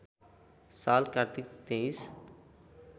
साल कार्तिक २३